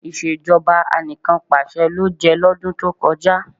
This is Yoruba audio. Ìṣèjọba Anìkanpàṣẹ ló jẹ́ lọ́dún tó kọjá